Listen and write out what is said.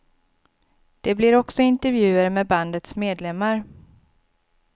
Det blir också intervjuer med bandets medlemmar.